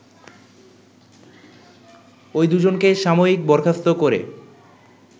ওই দুজনকে সাময়িকবরখাস্ত করে